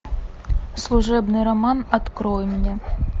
служебный роман открой мне